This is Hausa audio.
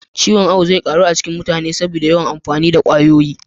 Ciwon awu zai ƙaru a cikin mutane saboda yawan amfani da kwayoyi